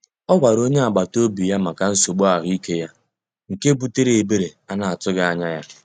Ọ gwara onye agbata obi ya maka nsogbu ahụike ya, nke butere ebere a na-atụghị anya ya.